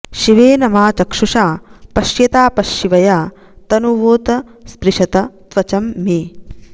शि॒वेन॑ मा॒ चक्षु॑षा पश्यतापश्शि॒वया॑ त॒नुवोप॑ स्पृशत॒ त्वच॑म् मे